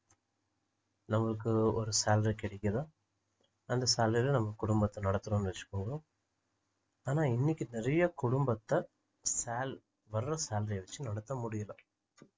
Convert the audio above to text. நம்மளுக்கு வரு salary கிடைக்குதா அந்த salary ல நம்ம குடும்பத்தை நடத்துறோம்னு வச்சிக்கொங்கோ ஆனா இன்னைக்கு நிறைய குடும்பத்தை சால்~ வர்ற salary அ வச்சி நடத்த முடியலை